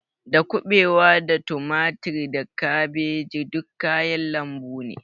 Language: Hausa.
Da kuɓewa da tumatir da kabeji duk kayan lambu ne